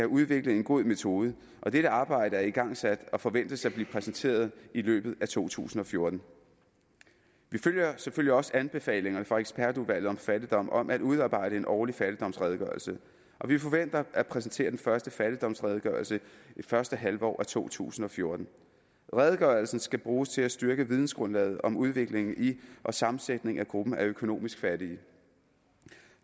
udviklet en god metode og dette arbejde er igangsat og forventes at blive præsenteret i løbet af to tusind og fjorten vi følger selvfølgelig også anbefalingerne fra ekspertudvalget om fattigdom om at udarbejde en årlig fattigdomsredegørelse og vi forventer at præsentere den første fattigdomsredegørelse i første halvår af to tusind og fjorten redegørelsen skal bruges til at styrke vidensgrundlaget om udviklingen i og sammensætningen af gruppen af økonomisk fattige